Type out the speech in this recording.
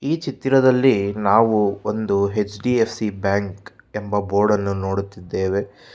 ಈ ಚಿತ್ತಿರದಲ್ಲಿ ನಾವು ಒಂದು ಎಚ್_ಡಿ_ಎಫ್_ಸಿ ಬ್ಯಾಂಕ್ ಎಂಬ ಬೋರ್ಡನ್ನು ನೋಡುತ್ತಿದ್ದೇವೆ.